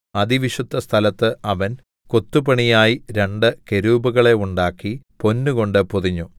അതിവിശുദ്ധസ്ഥലത്ത് അവൻ കൊത്തുപണിയായി രണ്ട് കെരൂബുകളെ ഉണ്ടാക്കി പൊന്നുകൊണ്ട് പൊതിഞ്ഞു